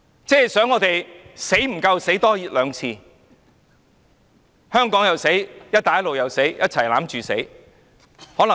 當局是要我們再死多兩次，香港又死，"一帶一路"又死，就是死在一起嗎？